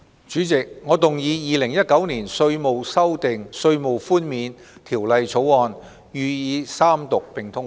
主席，我動議《2019年稅務條例草案》予以三讀並通過。